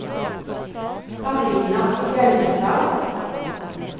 Carina Fjellstad